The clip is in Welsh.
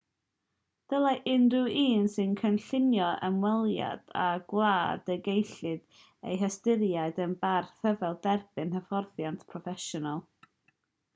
dylai unrhyw un sy'n cynllunio ymweliad â gwlad y gellid ei hystyried yn barth rhyfel dderbyn hyfforddiant proffesiynol